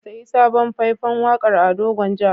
Ka sayi sabon fai-fan waƙar Ado Gwanja.